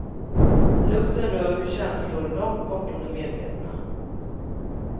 Lukten rör vid känslor långt bortom det medvetna.